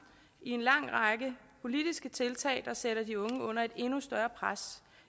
i en lang række politiske tiltag der sætter de unge under et endnu større pres